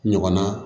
Ɲɔgɔnna